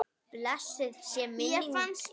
Blessuð sé minning ykkar.